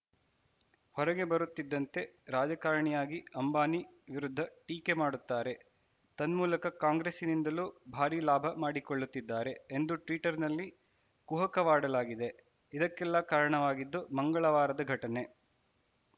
ಹೊರಗೆ ಬರುತ್ತಿದ್ದಂತೆ ರಾಜಕಾರಣಿಯಾಗಿ ಅಂಬಾನಿ ವಿರುದ್ಧ ಟೀಕೆ ಮಾಡುತ್ತಾರೆ ತನ್ಮೂಲಕ ಕಾಂಗ್ರೆಸ್ಸಿನಿಂದಲೂ ಭಾರಿ ಲಾಭ ಮಾಡಿಕೊಳ್ಳುತ್ತಿದ್ದಾರೆ ಎಂದು ಟ್ವೀಟರ್‌ನಲ್ಲಿ ಕುಹಕವಾಡಲಾಗಿದೆ ಇದಕ್ಕೆಲ್ಲಾ ಕಾರಣವಾಗಿದ್ದು ಮಂಗಳವಾರದ ಘಟನೆ